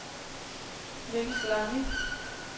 Nils Lange